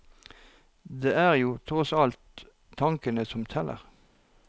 Det er jo tross alt tanken som teller.